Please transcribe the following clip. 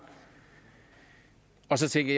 og så tænkte